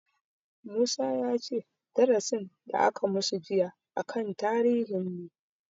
Musa ya ce darasin da aka masu jiya a kan tarihin ne